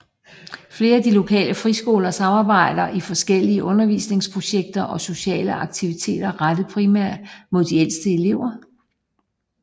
Flere af de lokale friskoler samarbejder om forskellige undervisningsprojekter og sociale aktiviteter rettet primært mod de ældste elever